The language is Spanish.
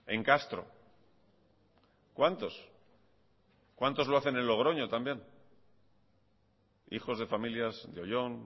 en castro cuántos cuántos lo hacen en logroño también hijos de familias de oyón